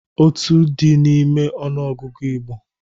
Otu dị n'ime ọnụ ọgụgụ Igbo.